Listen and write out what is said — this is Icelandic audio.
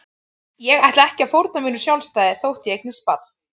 Ég ætla ekki að fórna mínu sjálfstæði þótt ég eignist barn.